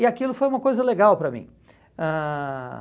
E aquilo foi uma coisa legal para mim. Ãh